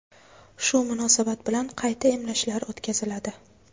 Shu munosabat bilan qayta emlashlar o‘tkaziladi.